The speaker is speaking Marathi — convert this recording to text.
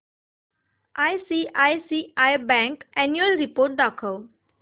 आयसीआयसीआय बँक अॅन्युअल रिपोर्ट दाखव